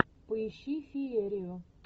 поищи феерию